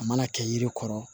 A mana kɛ yiri kɔrɔ